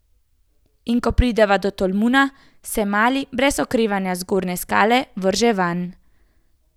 In ko prideva do tolmuna, se Mali brez oklevanja z zgornje skale vrže vanj.